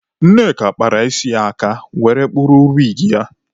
Nneka kpara isi aka were kpuru wigi ya.